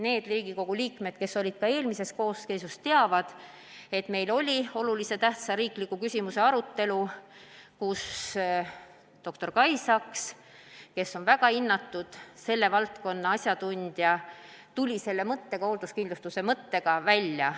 Need Riigikogu liikmed, kes olid eelmises koosseisus, teavad, et meil oli oluliselt tähtsa riikliku küsimuse arutelu, kus dr Kai Saks, kes on väga hinnatud selle valdkonna asjatundja, tuli selle hoolduskindlustuse mõttega välja.